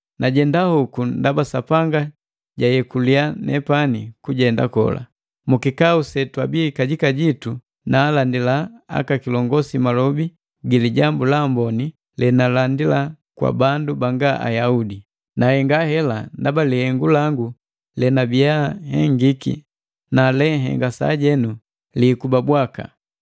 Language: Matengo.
Najenda hoku ndaba Sapanga jayekuli nepani kujenda kola. Mukikau setwabii kajika jitu naalandila aka kilongosi malobi gi Lijambu la Amboni lenalandila kwa bandu banga Ayaudi. Nahenga hela ndaba lihengu langu lenabiya hengiki, na lenhenga sajenu, liikuba bwaka.